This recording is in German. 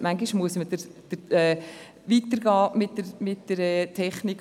manchmal muss man mit der Technik weitergehen.